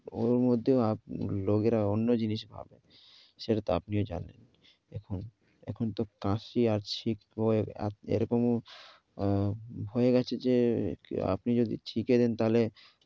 ওর মধ্যেও আপ~ লোকেরা অন্য জিনিস ভাবে, সেটাতো আপনিও জানলেন। এখন, এখন তো কাশি আসছিক ক্রয়ের এরকম হয়ে গেছে যে আপনি যদি ঠিকে দেন তাইলে